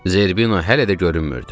Zerbino hələ də görünmürdü.